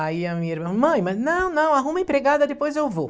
Aí a minha irmã, mãe, mas não, não, arruma empregada, depois eu vou.